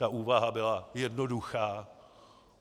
Ta úvaha byla jednoduchá.